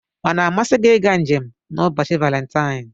Ọ na-amasị gị ịga njem n'ụbọchị Valentine?